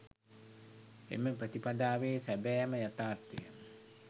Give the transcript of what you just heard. එම ප්‍රතිපදාවේ සැබෑම යථාර්ථය